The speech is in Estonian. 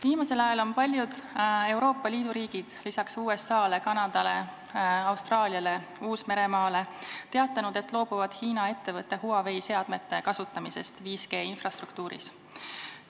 Viimasel ajal on peale USA, Kanada, Austraalia ja Uus-Meremaa ka paljud Euroopa riigid teatanud, et loobuvad Hiina ettevõtte Huawei seadmete kasutamisest 5G-infrastruktuuris.